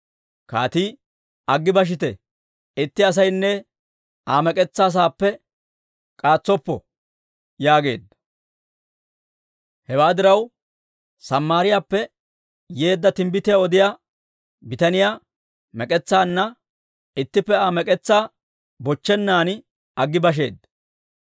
Kaatii, «Aggi bashite; itti asaynne Aa mek'etsaa saappe k'aatsoppo» yaageedda. Hewaa diraw, Samaariyaappe yeedda timbbitiyaa odiyaa bitaniyaa mek'etsaanna ittippe Aa mek'etsaa bochchennan aggi basheeddino.